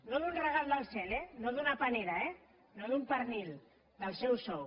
no d’un regal del cel eh no d’una panera eh no d’un pernil del seu sou